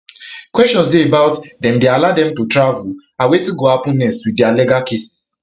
questions dey about dem dey allow dem to travel and wetin go happen next with dia legal cases